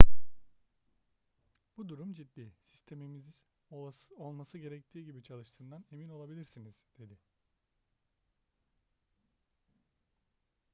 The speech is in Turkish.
bu durum ciddi sistemimizin olması gerektiği gibi çalıştığından emin olabilirsiniz dedi